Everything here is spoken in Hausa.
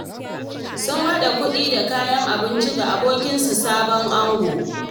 Sun haɗa kuɗi da kayan abinci ga abokinsu, sabon ango.